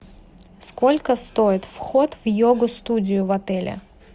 сколько стоит вход в йогу студию в отеле